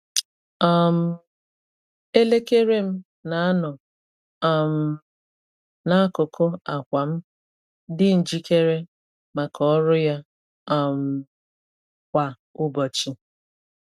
um Elekere m na-anọ um n’akụkụ akwa m, dị njikere maka ọrụ ya um kwa ụbọchị.